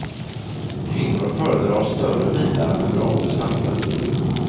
Kvinnor föredrar större bilar med bra prestanda.